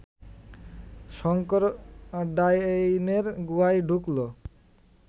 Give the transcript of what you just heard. শঙ্কর ডাইনের গুহায় ঢুকল